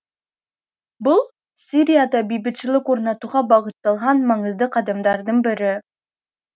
бұл сирияда бейбітшілік орнатуға бағытталған маңызды қадамдардың бірі